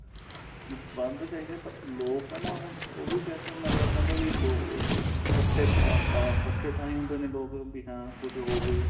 ਬੰਦ ਚਾਹੀਦੇ ਪਰ ਲੋਕ ਏ ਨਾ ਹੁਣ ਉਹ ਵੀ ਕਿਆ ਕਰਨ ਅੱਗਲਾ ਕਹਿੰਦਾ ਵੀ ਲੋਕ ਇੱਕਠੇ ਅਹ ਇੱਕਠੇ ਤਾਂਹੀ ਹੁੰਦੇ ਨੇ ਲੋਕ ਵੀ ਹਾਂ ਕੁੱਝ ਹੋਵੇ